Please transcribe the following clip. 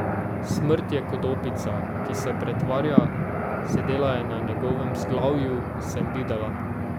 Smrt je kot opica, ki se pretvarja, sedela je na njegovem vzglavju, sem videla.